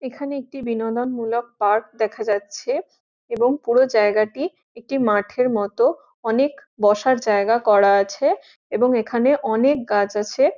এখানে একটি বিনোদন মূলক পার্ক দেখা যাচ্ছে এবং পুরো জায়গাটি একটি মাঠের মতন অনেক বসার জায়গা করা আছে এবং এখানে অনেক গাছ আছে।